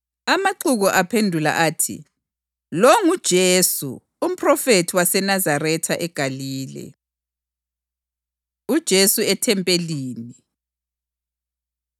Amaxuku aphendula athi, “Lo nguJesu, umphrofethi waseNazaretha eGalile.” UJesu EThempelini